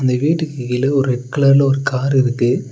இந்த வீட்டுக்கு கீழ ஒரு ரெட் கலர்ல ஒரு கார் இருக்கு.